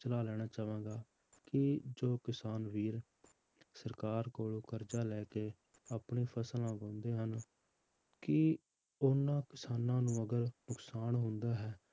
ਸਲਾਹ ਲੈਣਾ ਚਾਹਾਂਗਾ ਕਿ ਜੋ ਕਿਸਾਨ ਵੀਰ ਸਰਕਾਰ ਕੋਲੋਂ ਕਰਜਾ ਲੈ ਕੇ ਆਪਣੀ ਫਸਲਾਂ ਉਗਾਉਂਦੇ ਹਨ, ਕੀ ਉਹਨਾਂ ਕਿਸਾਨਾਂ ਨੂੰ ਅਗਰ ਨੁਕਸਾਨ ਹੁੰਦਾ ਹੈ,